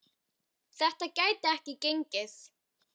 Þetta gæti ekki gengið.